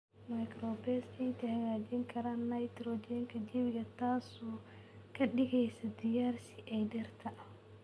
Microbes ciidda hagaajin karaan nitrogen ka jawiga, taas oo ka dhigaysa diyaar si ay dhirta.